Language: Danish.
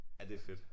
Ja det fedt